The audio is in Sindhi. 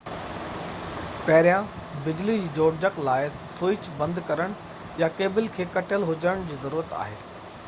پهريان بجلي جي جوڙجَڪ لاءِ سوئچ بند ڪرڻ يا ڪيبل جو ڪَٽيل هُجڻ جي ضرورت آهي